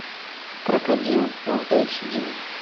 крокодил фул эйч ди